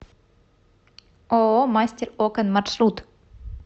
ооо мастер окон маршрут